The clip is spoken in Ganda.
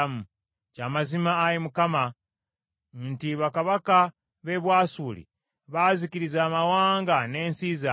“Kya mazima, Ayi Mukama , nti bakabaka b’e Bwasuli baazikiriza amawanga n’ensi zaabwe,